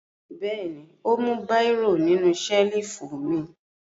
Bẹ́ẹ̀ ni, ó mú bírò nínú ṣẹ́lífù mi.